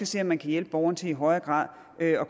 se om man kan hjælpe borgeren til i højere grad der